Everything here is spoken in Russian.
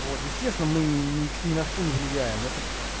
вот естественно мы ни на что не влияем это